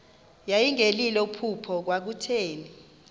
yayingelilo phupha kwakutheni